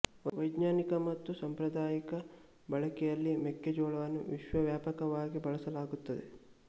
ವೈಜ್ಞಾನಿಕ ಮತ್ತು ಸಾಂಪ್ರದಾಯಿಕ ಬಳಕೆಯಲ್ಲಿ ಮೆಕ್ಕೆ ಜೋಳವನ್ನು ವಿಶ್ವವ್ಯಾಪಕವಾಗಿ ಬಳಸಲಾಗುತ್ತದೆ